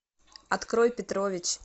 открой петрович